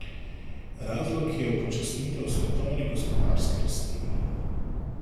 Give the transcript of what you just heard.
Razlog je upočasnitev svetovne gospodarske rasti.